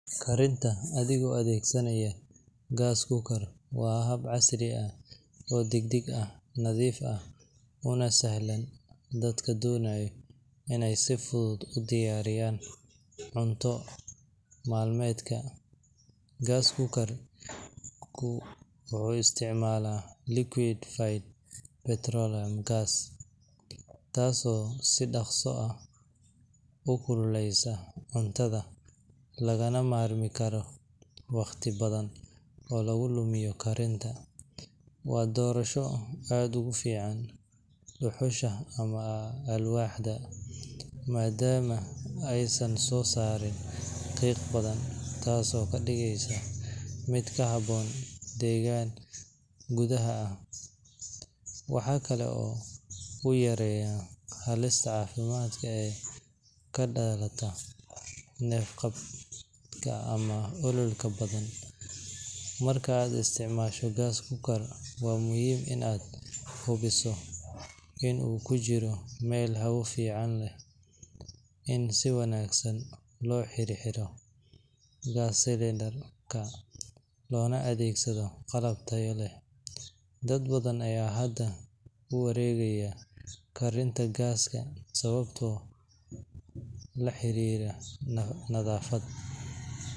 Karinta adigoo adeegsanaya gas cooker waa hab casri ah oo degdeg ah, nadiif ah, una sahlan dadka doonaya in ay si fudud u diyaariyaan cunto maalmeedka. Gas cooker-ku wuxuu isticmaalaa liquefied petroleum gas (LPG), taasoo si dhakhso leh u kululaysa cuntada, lagana maarmi karo waqti badan oo lagu lumiya karinta. Waa doorasho aad uga fiican dhuxusha ama alwaaxda, maadaama aysan soo saarin qiiq badan, taasoo ka dhigaysa mid ku habboon deegaan gudaha ah. Waxaa kale oo uu yareeyaa halista caafimaad ee ka dhalata neef-qabadka ama ololka badan. Marka aad isticmaasho gas cooker, waa muhiim in aad hubiso in uu ku jiro meel hawo fiican leh, in si wanaagsan loo xirxiro gas cylinder-ka, loona adeegsado qalab tayo leh. Dad badan ayaa hadda u wareegaya karinta gaaska sababo la xiriira nadaafad.